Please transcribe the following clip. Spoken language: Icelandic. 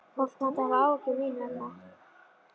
Fólk mátti hafa áhyggjur, mín vegna.